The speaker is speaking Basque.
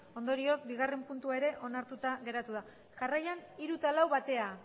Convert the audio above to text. ondorioz bigarren puntua ere onartuta geratu da jarraian hiru eta lau batera